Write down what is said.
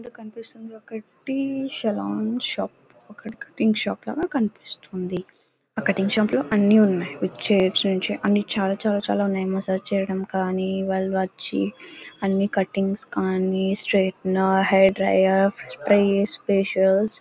ఇక్కడ కనిపిస్తున్న దాన్ని బట్టి ఒక సెలూన్ షాప్ ఒక కటింగ్ షాప్ లాగా కనిపిస్తుంది ఆ కటింగ్ షాపులో అన్నీ ఉన్నాయి చాలా ఉన్నాయి మసాజ్ చేయడం కానీ అన్ని కట్టింగ్స్ కానీ straightener hair dryer sprays facials --